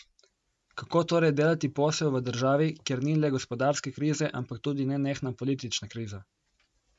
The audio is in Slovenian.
Kako torej delati posel v državi, kjer ni le gospodarske krize, ampak tudi nenehna politična kriza?